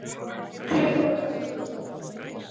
Klukkan korter í tólf